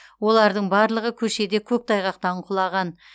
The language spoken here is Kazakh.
олардың барлығы көшеде көктайғақтан құлаған